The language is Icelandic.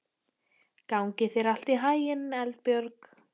Gangi þér allt í haginn, Eldbjörg.